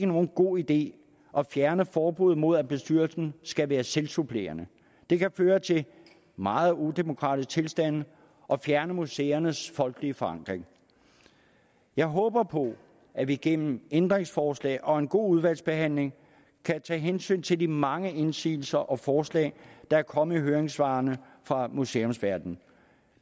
nogen god idé at fjerne forbuddet mod at bestyrelsen skal være selvsupplerende det kan føre til meget udemokratiske tilstande og fjerne museernes folkelige forankring jeg håber på at vi gennem ændringsforslag og en god udvalgsbehandling kan tage hensyn til de mange indsigelser og forslag der er kommet i høringssvarene fra museumsverdenen